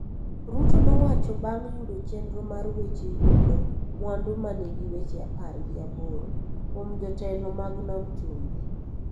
Ruto nowacho bang� yudo chenro mar weche yudo mwandu ma nigi weche apar gi aboro kuom jotelo mag nam chumbi.